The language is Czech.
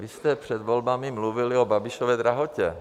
Vy jste před volbami mluvili o Babišově drahotě.